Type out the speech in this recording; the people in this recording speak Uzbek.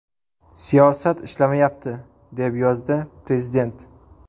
Siyosat ishlamayapti”, deb yozdi prezident.